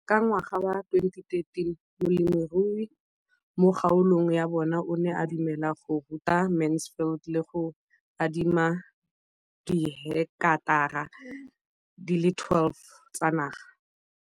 Ka ngwaga wa 2013, molemirui mo kgaolong ya bona o ne a dumela go ruta Mansfield le go mo adima di heketara di le 12 tsa naga.